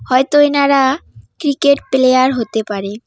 হয়তো এনারা cricket player হতে পারে।